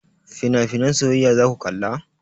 Finafinan soyayya zaku kalla?